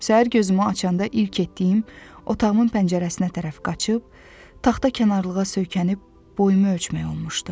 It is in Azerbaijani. Səhər gözümü açanda ilk etdiyim otağımın pəncərəsinə tərəf qaçıb, taxta kənarlığa söykənib boyumu ölçmək olmuşdu.